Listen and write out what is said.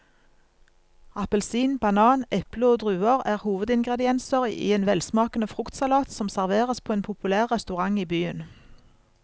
Appelsin, banan, eple og druer er hovedingredienser i en velsmakende fruktsalat som serveres på en populær restaurant i byen.